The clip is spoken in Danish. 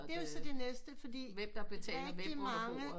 Det er jo så det næste fordi rigtig mange